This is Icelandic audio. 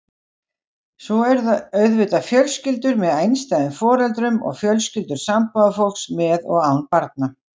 Svo eru auðvitað fjölskyldur með einstæðum foreldrum og fjölskyldur sambúðarfólks með og án barna.